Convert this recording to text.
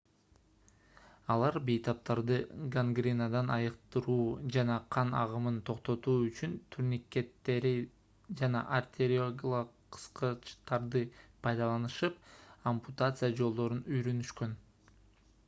алар бейтаптарды гангренадан айыктыруу жана кан агымын токтотуу үчүн турникеттерди жана артериялык кыскычтарды пайдаланышып ампутация жолдорун үйрөнүшкөн